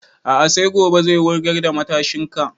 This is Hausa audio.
A'a sai gobe zai wurgar da matashin kan